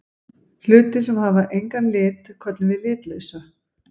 Hlutir sem hafa engan lit köllum við litlausa.